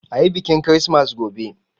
Ayi biƙin kirismas gobe!